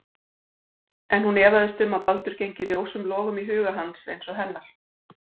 En hún efaðist um að Baldur gengi ljósum logum í huga hans eins og hennar.